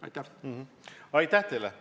Aitäh teile!